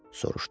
soruşdu.